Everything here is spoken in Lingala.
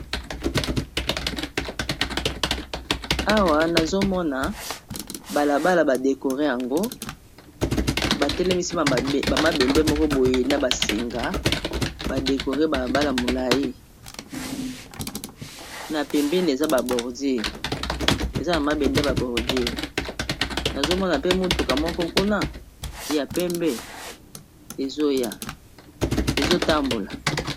Awa nazomona balabala badekore yango batelemisi bamabende moko boye na basinga badekore balabala molai na pembene Eza eza ba bordure eza ba mabende ya bordure nazomona pe motuka moko kuna ya pembe ezotambola.